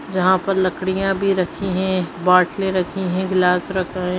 यहाँ पर लकड़ियाँ भी रखी है बॉटले रखी है ग्लास रखा हैं।